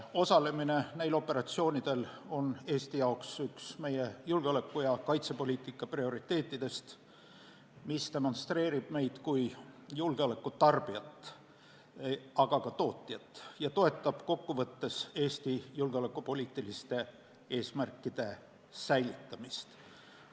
Osalemine neil operatsioonidel on Eesti jaoks üks meie julgeoleku- ja kaitsepoliitika prioriteetidest, mis demonstreerib meid kui julgeoleku tarbijat, aga ka tootjat, ning toetab kokkuvõttes Eesti julgeolekupoliitiliste eesmärkide säilitamist.